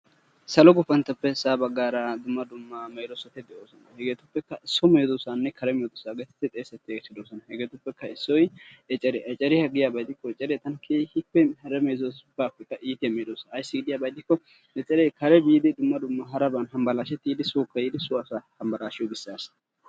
Salo gupanttoppe sa'aa baggaara dumma dumma medoosati de'oosona. Hegetuppekka so medoosanne kare medoosa getettidi xessetiyaageeti doosona. Hegetuppe issoy ecceriya, ecceriya giyaaba gidikko eccere tana keegippe hara medoosatuppekka iittiya medoosa ayssi giyaaba gidikko, eccere kare biidi dumma dumma haraban hambbalashsheti yiidi sookka tiidi sowa hambbalashshiyp gishshassa.